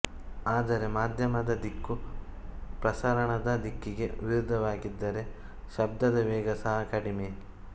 ಆದರೆ ಮಾಧ್ಯಮದ ದಿಕ್ಕು ಪ್ರಸರಣದ ದಿಕ್ಕಿಗೆ ವಿರುದ್ಧವಾಗಿದ್ದರೆ ಶಬ್ಧದ ವೇಗ ಸಹ ಕಡಿಮೆ